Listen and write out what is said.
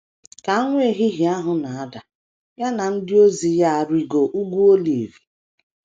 Ka anwụ ehihie ahụ na - ada, ya na ndị ozi ya arịgoo Ugwu Olive.